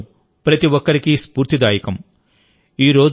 ఆయన జీవితం ప్రతి ఒక్కరికీ స్ఫూర్తిదాయకం